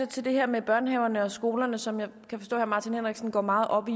til det her med børnehaverne og skolerne som jeg kan forstå herre martin henriksen går meget op i